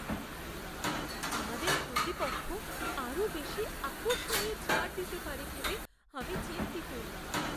আমাদের প্রতিপক্ষ আরও বেশি আকর্ষণীয় ছাড় দিতে পারে ভেবে আমি চিন্তিত।